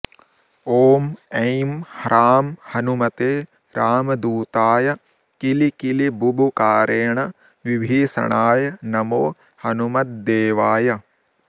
ॐ ऐं ह्रां हनुमते रामदूताय किलिकिलिबुबुकारेण विभीषणाय नमो हनुमह्देवाय